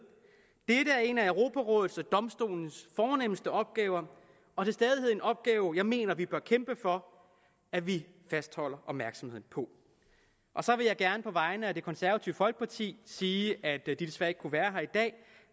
dette er en af europarådets og domstolens fornemste opgaver og til stadighed en opgave som jeg mener at vi bør kæmpe for at vi fastholder opmærksomheden på så vil jeg gerne på vegne af det konservative folkeparti sige at de desværre ikke kunne være her i dag